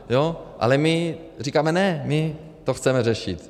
Ale my říkáme ne, my to chceme řešit.